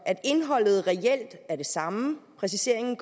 at indholdet reelt er det samme gør præciseringen